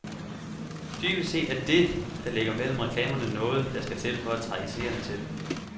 Dybest set er det, der ligger mellem reklamerne noget, der skal til for at trække seerne til.